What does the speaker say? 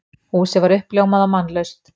Húsið var uppljómað og mannlaust.